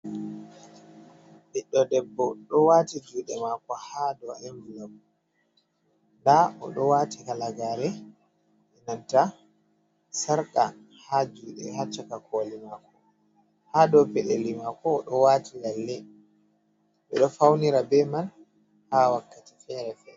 Ɓiɗɗo debbo ɗo waati juuɗe maako haa dow envulop. Ndaa o ɗo waati kalagaare, inanta sarka haa juuɗe, haa caka kooli maako, haa dow peɗeli maako, o ɗo waati lalle. Ɓe ɗo fawnira be man, haa wakkati feere feere.